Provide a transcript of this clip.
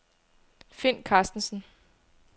Find Karstensen